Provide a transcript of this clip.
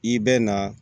I bɛ na